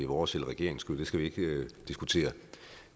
vores eller regeringens skyld det skal vi ikke diskutere